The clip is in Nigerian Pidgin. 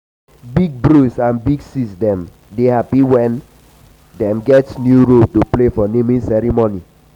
big bros and big sis dem dey happy wen um dem get new role to play for naming um ceremony.